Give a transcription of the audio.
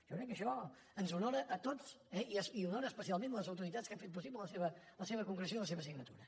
jo crec que això ens honora a tots eh i honora especialment les autoritats que han fet possible la seva concreció i la seva signatura